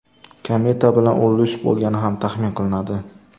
Kometa bilan urilish bo‘lgani ham taxmin qilinadi.